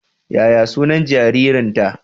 Yaya sunan jaririnta?